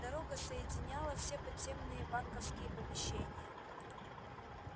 дорога соединяла все подземные банковские помещения